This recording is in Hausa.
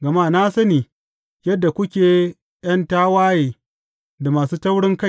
Gama na sani yadda kuke ’yan tawaye da masu taurinkai.